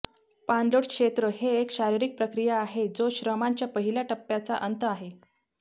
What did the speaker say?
पाणलोट क्षेत्र हे एक शारीरिक प्रक्रिया आहे जो श्रमांच्या पहिल्या टप्प्याचा अंत आहे